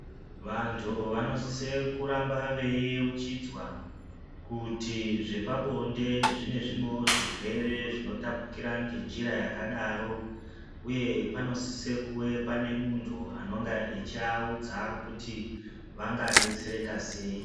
Vantu anosisa kurambe veiyeuchidzwa kuti zvepabonde zvine zvimwewo zvirwere zvonotapukira ngenjira yakadaro uye pano sisa kunge pane muntu anenge achivaunza kuti vanga detsereka sei.